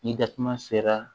Ni datuma sera